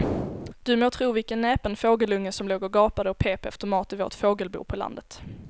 Du må tro vilken näpen fågelunge som låg och gapade och pep efter mat i vårt fågelbo på landet.